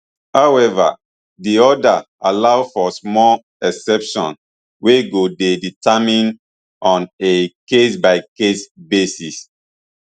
however di order allow for small exceptions wey go dey determined on a case by case basis